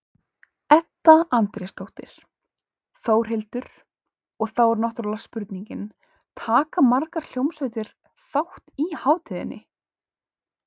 Edda Andrésdóttir: Þórhildur, og þá er náttúrulega spurningin, taka margar hljómsveitir þátt í hátíðinni?